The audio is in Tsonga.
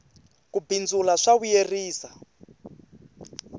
ku bindzula swa vuyerisa